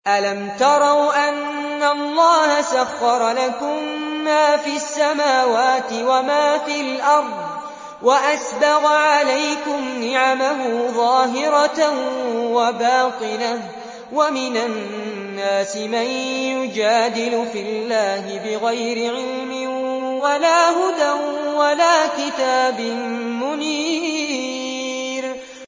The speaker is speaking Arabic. أَلَمْ تَرَوْا أَنَّ اللَّهَ سَخَّرَ لَكُم مَّا فِي السَّمَاوَاتِ وَمَا فِي الْأَرْضِ وَأَسْبَغَ عَلَيْكُمْ نِعَمَهُ ظَاهِرَةً وَبَاطِنَةً ۗ وَمِنَ النَّاسِ مَن يُجَادِلُ فِي اللَّهِ بِغَيْرِ عِلْمٍ وَلَا هُدًى وَلَا كِتَابٍ مُّنِيرٍ